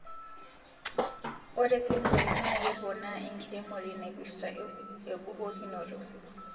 Ore sensory naa keponaa enkiremore naipirta ebukokinoto